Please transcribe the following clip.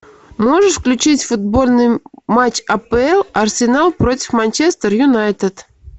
можешь включить футбольный матч апл арсенал против манчестер юнайтед